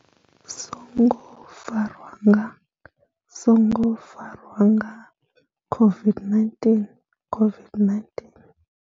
Songo farwa nga songo farwa nga COVID-19 COVID-19.